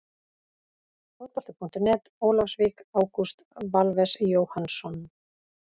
Fótbolti.net, Ólafsvík- Ágúst Valves Jóhannsson.